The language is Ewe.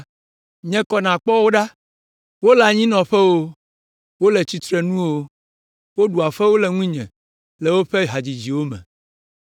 Nye kɔ nàkpɔ wo ɖa! Wole anyinɔƒe o, wole tsitrenu o, woɖua fewu le ŋunye le woƒe hadzidziwo me.